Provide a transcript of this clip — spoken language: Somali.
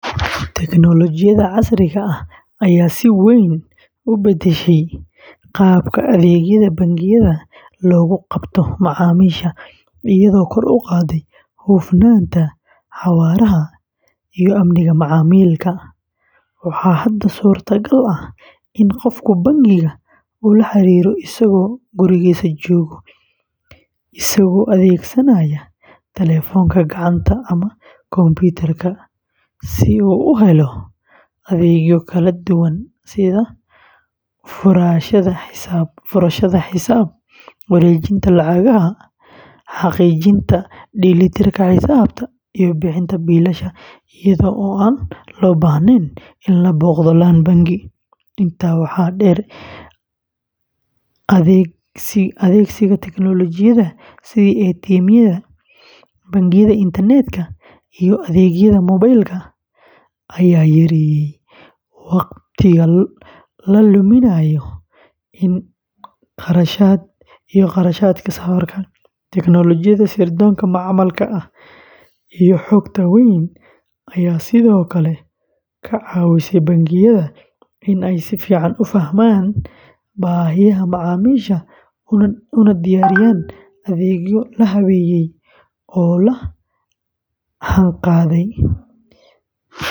Tignoolajiyada casriga ah ayaa si weyn u beddeshay qaabka adeegyada bangiyada loogu qabto macaamiisha, iyadoo kor u qaadday hufnaanta, xawaaraha, iyo amniga macaamilka. Waxaa hadda suurtagal ah in qofku bangiga ula xiriiro isagoo gurigiisa jooga, isagoo adeegsanaya telefoonka gacanta ama kombiyuutarka si uu u helo adeegyo kala duwan sida furashada xisaab, wareejinta lacagaha, xaqiijinta dheelitirka xisaabta, iyo bixinta biilasha iyadoo aan loo baahnayn in la booqdo laan bangi. Intaa waxaa dheer, adeegsiga tignoolajiyada sida ATM-yada, bangiyada internetka, iyo adeegyada moobiilka ayaa yareeyay wakhtiga la luminayo iyo kharashaadka safarka. Tignoolajiyada sirdoonka macmalka ah iyo xogta weyn ayaa sidoo kale ka caawisay bangiyada in ay si fiican u fahmaan baahiyaha macaamiisha una diyaariyaan adeegyo la habeeyey oo la jaanqaadaya.